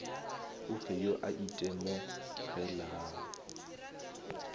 o fe yo a itemogelago